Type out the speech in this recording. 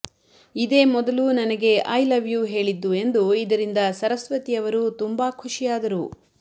ಇದೇ ಮೊದಲು ನನಗೆ ಐ ಲವ್ ಯೂ ಹೇಳಿದ್ದು ಎಂದು ಇದರಿಂದ ಸರಸ್ವತಿ ಅವರು ತುಂಬಾ ಖುಷಿ ಆದರು